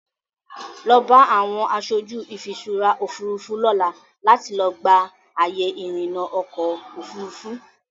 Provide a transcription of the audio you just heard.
Lọ bá àwọn aṣojú ìfiṣúra Òfurufú lọ́la láti lọ gba àyè ìrìnà ọkọ Òfurufú.